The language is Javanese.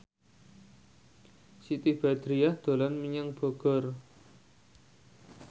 Siti Badriah dolan menyang Bogor